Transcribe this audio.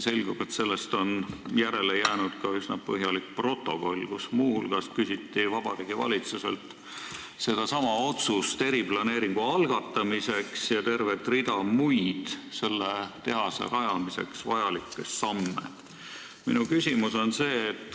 Selgub, et sellest on järele jäänud üsna põhjalik protokoll, kus muu hulgas on kirjas, et Vabariigi Valitsuselt küsiti sedasama otsust eriplaneeringu algatamiseks ja tervet rida muid selle tehase rajamiseks vajalikke samme.